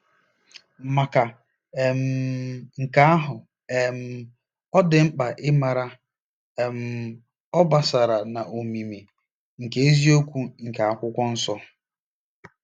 Maka um nke ahụ um, ọ dị mkpa ịmara' um obosara na omimi ' nke eziokwu nke Akwụkwọ Nsọ.